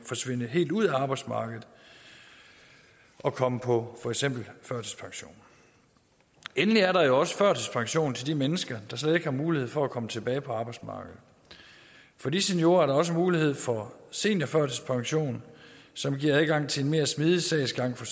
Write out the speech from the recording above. forsvinde helt ud af arbejdsmarkedet og komme på for eksempel førtidspension endelig er der jo også førtidspension til de mennesker der slet ikke har mulighed for at komme tilbage på arbejdsmarkedet for de seniorer er der også mulighed for seniorførtidspension som giver adgang til en mere smidig sagsgang